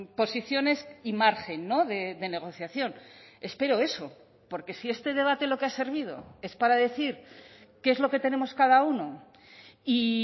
posiciones y margen no de negociación espero eso porque si este debate lo que ha servido es para decir qué es lo que tenemos cada uno y